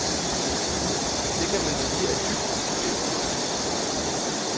Det kan man sige er dybt udemokratisk.